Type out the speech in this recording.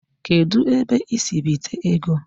Kedu ebe I si bite ego?